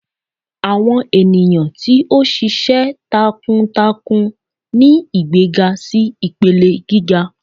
awọn eniyan ti o ṣiṣẹ talákúntákún ni igbegá si ipelẹ gigá